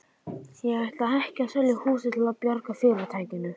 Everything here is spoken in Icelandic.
Ég ætla ekki að selja húsið til að bjarga fyrirtækinu.